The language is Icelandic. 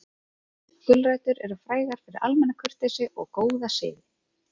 Gulrætur eru frægar fyrir almenna kurteisi og góða siði.